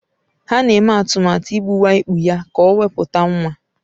Ha na-eme atụmatụ igbuwa ikpu ya ka o wepụta nwa.